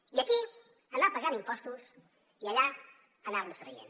i aquí anar pagant impostos i allà anar los traient